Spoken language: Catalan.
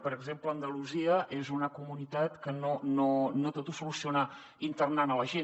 per exemple andalusia és una comunitat que no tot ho soluciona internant la gent